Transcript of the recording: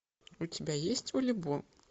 у тебя есть волейбол